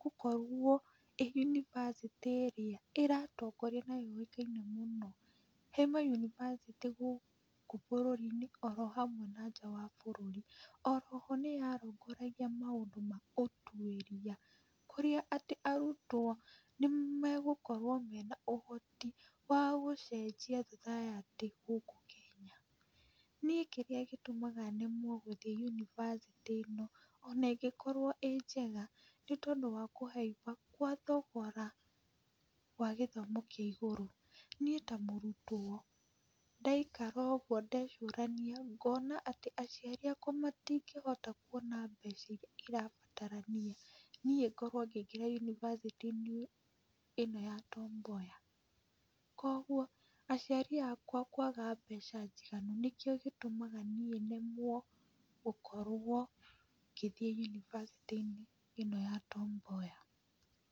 gũkorwo ĩĩ yunivasĩtĩ ĩrĩa ĩratongoria na yũĩkaine mũno he mayunivasĩtĩ gũkũ bũrũri-inĩ oro hamwe na nja wa bũrũri. O ro ho nĩ yarũngũragia maũndũ ma ũtuĩria kũrĩa atĩ arutwo nĩ megũkorwo mena ũhoti wa gũcenjia society gũkũ Kenya. Niĩ kĩrĩa gĩtũmaga nemwo gũthiĩ yunivasĩtĩ ĩno ona ĩngĩkorwo ĩĩ njega nĩ tondũ wa kũhaimba gwa thogora wa gĩthomo kĩa igũrũ. Niĩ ta mũrutwo ndaikara ũguo ndecũrania ngona atĩ aciari akwa matingĩhota kuona mbeca irĩa irabatarania niĩ ngorwo ngĩingĩra yunivasĩtĩ-inĩ ĩno ya Tom Mboya. Kwoguo aciari akwa kwaga mbeca njiganu nĩkĩo gĩtũmaga niĩ nemwo gũkorwo ngĩthiĩ yunivasĩtĩ-inĩ ĩno ya Tom Mboya.